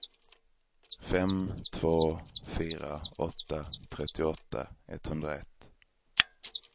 fem två fyra åtta trettioåtta etthundraett